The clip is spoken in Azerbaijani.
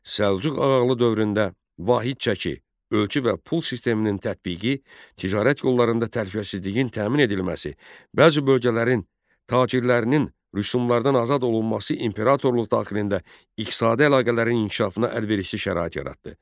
Səlcuq ağalığı dövründə vahid çəki, ölçü və pul sisteminin tətbiqi, ticarət yollarında təhlükəsizliyin təmin edilməsi, bəzi bölgələrin tacirlərinin rüsümlardan azad olunması imperatorluq daxilində iqtisadi əlaqələrin inkişafına əlverişli şərait yaratdı.